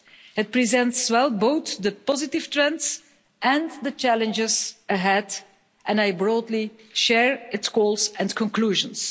It presents well both the positive trends and the challenges ahead, and I broadly share its goals and conclusions.